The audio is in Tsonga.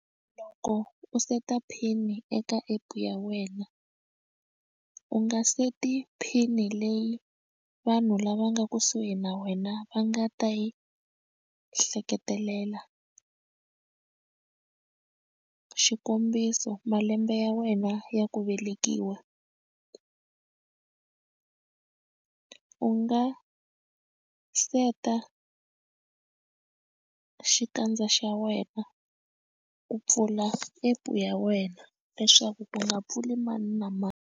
Loko u seta pin eka app ya wena u nga seti pin leyi vanhu lava nga kusuhi na wena va nga ta yi hleketelela xikombiso malembe ya wena ya ku velekiwa u nga seta xikandza xa wena ku pfula app ya wena leswaku ku nga pfuli mani na mani.